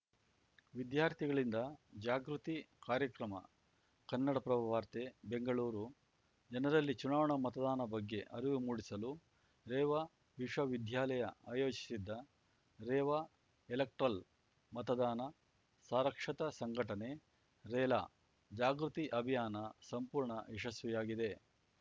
ವಿದ್ಯಾರ್ಥಿಗಳಿಂದ ಜಾಗೃತಿ ಕಾರ‍್ಯಕ್ರಮ ಕನ್ನಡಪ್ರಭ ವಾರ್ತೆ ಬೆಂಗಳೂರು ಜನರಲ್ಲಿ ಚುನಾವಣಾ ಮತದಾನ ಬಗ್ಗೆ ಅರಿವು ಮೂಡಿಸಲು ರೇವಾ ವಿಶ್ವವಿದ್ಯಾಲಯ ಆಯೋಜಿಸಿದ್ದ ರೇವಾ ಎಲೆಕ್ಟ್ರಲ್‌ ಮತದಾನ ಸಾರಕ್ಷತಾ ಸಂಘಟನೆ ರೇಲಾ ಜಾಗೃತಿ ಅಭಿಯಾನ ಸಂಪೂರ್ಣ ಯಶಸ್ವಿಯಾಗಿದೆ